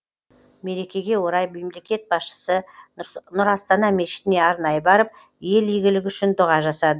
мерекеге орай мемлекет басшысы нұр астана мешітіне арнайы барып ел игілігі үшін дұға жасады